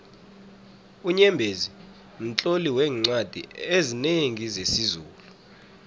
unyembezi mtloli weencwadi ezinengi zesizulu